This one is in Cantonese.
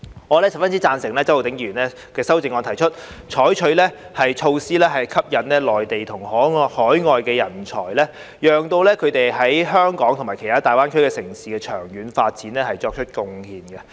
我十分贊成周浩鼎議員的修正案，提出採取措施吸引內地及海外人才，讓他們為香港及其他大灣區城市的長遠經濟發展作出貢獻。